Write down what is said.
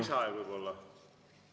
Väike lisaaeg võib-olla?